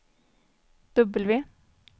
W